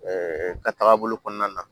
ka taga bolo kɔnɔna na